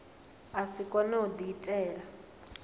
a si kone u diitela